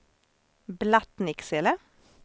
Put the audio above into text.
Blattnicksele